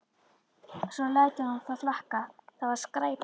Svo lætur hann það flakka: Það var skræpa